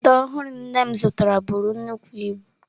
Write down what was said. Ite ọhụrụ nne m zụtara buru nnukwu ibu.